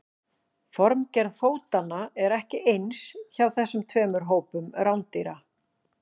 Formgerð fótanna er ekki eins hjá þessum tveimur hópum rándýra.